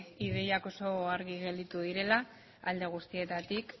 ideiak oso argi gelditu direla alde guztietatik